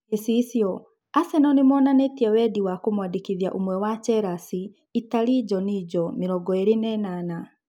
(Gicicio) Aseno nĩmonanĩĩtie wendi wa kũmwandĩkithia ũmwe wa Chelasi na Itarĩ Njojino, mĩrongoĩrĩ na ĩnana.